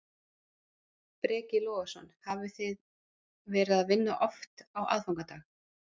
Breki Logason: Hafið þið verið að vinna oft á aðfangadag?